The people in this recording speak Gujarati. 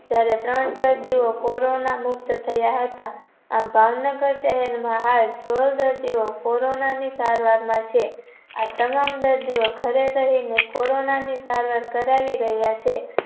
જયારે ત્રણ દર્દીઓ corona મુક્ત થયા હતા આમ ભાવનગર શહેરમાં હાય કુવર દર્દીઓ corona ની સારવાર માં છે. આ તમામ દર્દીઓ ધરે રહીને corona ની સારવાર કરાવી રહ્યા છે.